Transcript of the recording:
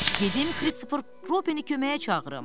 Gedim Krister Robini köməyə çağırım.